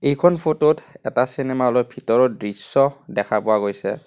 এইখন ফটো ত এটা চিনেমা হ'ল ৰ ভিতৰৰ দৃশ্য দেখা পোৱা গৈছে।